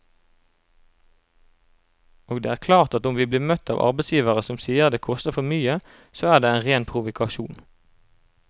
Og det er klart at om vi blir møtt av arbeidsgivere som sier det koster for mye, så er det en ren provokasjon.